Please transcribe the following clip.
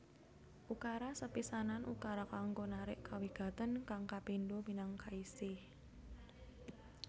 Ukara sepisanan ukara kanggo narik kawigatèn kang kapindho minangka isi